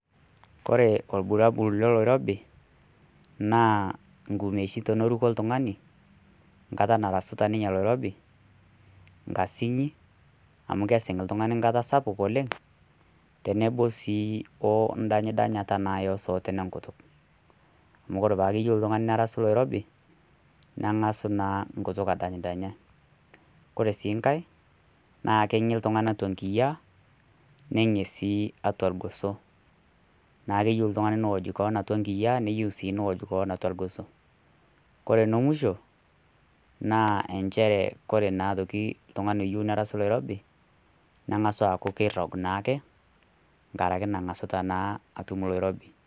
Ore olbulabul loo oloirobi naa inkumeshin teneruko oltung'ani nkata narasita ninye oloirobi, nkasing'i, amu kiasing' oltung'ani nkata sapuk oleng' o tenebo naa o ndanyidanyata naa o sootin enkutuk. Kore naake teneyou oltung'ani nerasu oloirobi, neng'asu naa nkutuk adanyidanya. Kore sii nkai, naa kenya ltung'ana eng'eito oo nkiyaa, neng'e sii atua ilgoso, naa keyou oltung'ani neoj kaan atua inkiyaa neyou sii neoj keon atua ilgoso. Kore ene musho, naa enchere kore oltung'ani naa atoiki peyou perasu oloirobi, neng'as aaku keirog naa nkaraki nang'asita naa atum oloirobi.